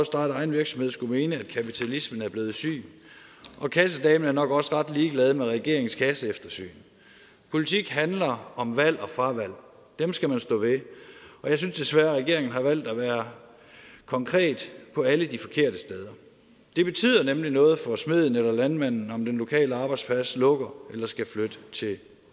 starte egen virksomhed skulle mene at kapitalismen er blevet syg og kassedamen er nok også ret ligeglad med regeringens kasseeftersyn politik handler om valg og fravalg dem skal man stå ved og jeg synes desværre at regeringen har valgt at være konkret på alle de forkerte steder det betyder nemlig noget for smeden og landmanden om den lokale arbejdsplads lukker eller skal flytte til